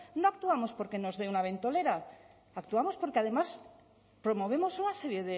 no actuamos porque nos dé una ventolera actuamos porque además promovemos una serie